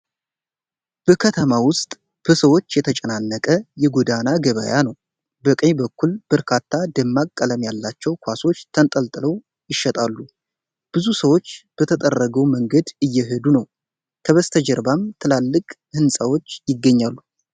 በከተማ ውስጥ በሰዎች የተጨናነቀ የጎዳና ገበያ ነው። በቀኝ በኩል በርካታ ደማቅ ቀለም ያላቸው ኳሶች ተንጠልጥለው ይሸጣሉ። ብዙ ሰዎች በተጠረገው መንገድ እየሄዱ ነው፡፡ ከበስተጀርባም ትላልቅ ህንጻዎች ይገኛሉ።